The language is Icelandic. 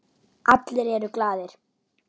Allir eru glaðir.